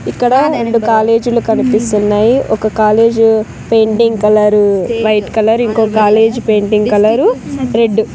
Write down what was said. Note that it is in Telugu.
ఇక్కడ రెండు కాలేజులు కనిపిస్తున్నాయి ఒక college painting colour white colour ఇంకొక కాలేజ్ పెయింటింగ్ కలర్ రెడ్ .